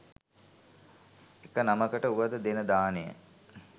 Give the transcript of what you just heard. එක නමකට වුවද දෙන දානය